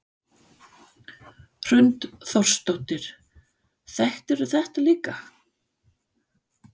Hrund Þórsdóttir: Þekktir þú þetta líka?